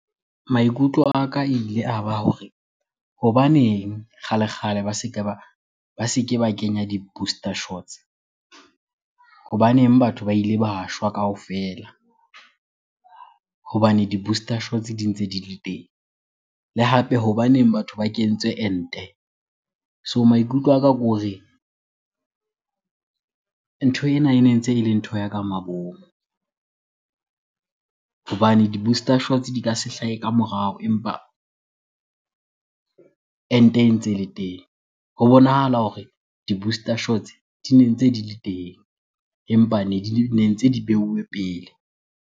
Maikutlo a ka ile a ba hore hobaneng kgale-kgale ba se ke ba kenya di-booster shots. Hobaneng batho ba ile ba shwa kaofela hobane di-booster shots di ntse di le teng. Le hape hobaneng batho ba kentswe ente? So maikutlo a ka ke hore ntho ena, ene ntse ele ntho ya ka mabomo. Hobane di-booster shots di ka se hlahe ka morao empa ente ntse le teng. Ho bonahala hore di-booster shots di ne ntse di le teng empa ne ntse di beuwe pele.